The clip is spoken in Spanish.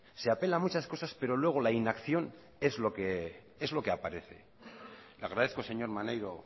se apelan muchas cosas pero luego la inacción es lo que aparece le agradezco señor maneiro